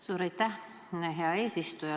Suur aitäh, hea eesistuja!